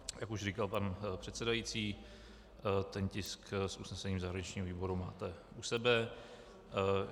Jak už říkal pan předsedající, ten tisk s usnesením zahraničního výboru máte u sebe.